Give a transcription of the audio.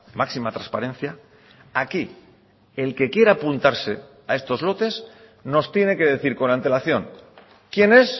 máxima transparencia aquí el que quiera apuntarse a estos lotes nos tiene que decir con antelación quién es